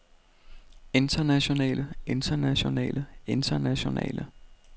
internationale internationale internationale